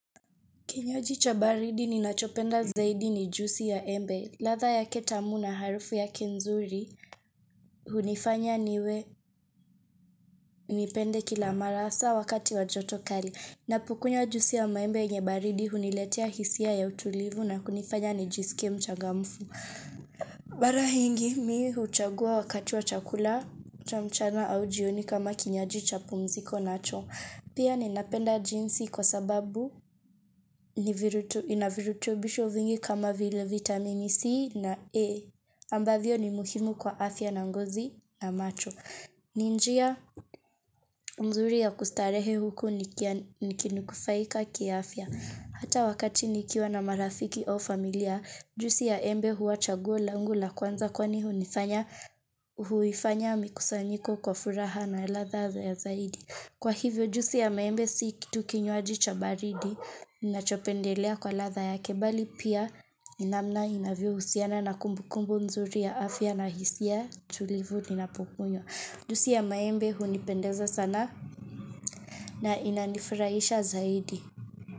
Kinywaji cha baridi ninachopenda zaidi ni jusi ya embe. Ladhaa yake tamu na harufu yake nzuri hunifanya niwe nipende kila mara hasa wakati wa joto kali. Ninapokunywa jusi ya maembe yenye baridi huniletea hisia ya utulivu na kunifanya nijisike mchagamfu. Mara nyingi mi huichagua wakati wa chakula cha mchana au jioni kama kinywaji cha pumziko nacho. Pia ninapenda jinsi kwa sababu inavirutubisho vingi kama vile vitamini C na E, ambavyo ni muhimu kwa afya na ngozi na macho. Ni njia mzuri ya kustarehe huku nikini kufaika kiafya. Hata wakati nikiwa na marafiki au familia, jusi ya embe huwa chaguo langu la kwanza kwani hunifanya huifanya mikusanyiko kwa furaha na ladha ya zaidi. Kwa hivyo jusi ya maembe si kitu kinywaji cha baridi, ninachopendelea kwa ladhaa yake bali pia ni namna inavyo husiana na kumbukumbu mzuri ya afya na hisia tulivu ninapokunywa. Jusi ya maembe hunipendeza sana na inanifurahisha zaidi.